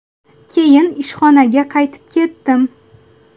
Keyin ishxonaga qaytib ketdim.